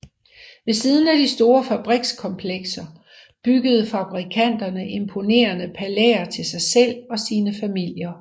Ved siden af de store fabrikskomplekser byggede fabrikanterne imponerende palæer til sig selv og sine familier